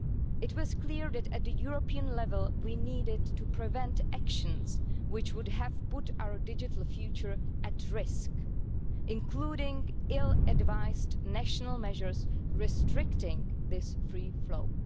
It was clear that at the European level, we needed to prevent actions which would have put our digital future at risk, including ill-advised national measures restricting this free flow.